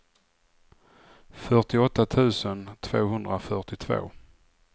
fyrtioåtta tusen tvåhundrafyrtiotvå